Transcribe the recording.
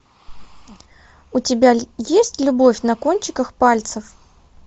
у тебя есть любовь на кончиках пальцев